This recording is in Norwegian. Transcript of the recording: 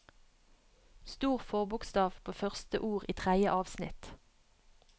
Stor forbokstav på første ord i tredje avsnitt